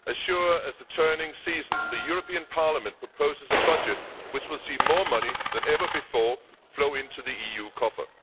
As sure as the turning seasons, the European Parliament proposes a budget which will see more money than ever before flow into the EU coffer.